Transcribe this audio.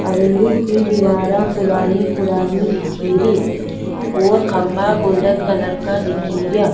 हवेली की दिवारा पुरानी पुरानी दिखे री और खम्भा गोल्डन कलर का दिखे रिया।